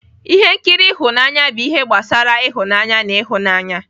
Ihe nkiri ịhụnanya bụ ihe gbasara ịhụnanya na ihunanya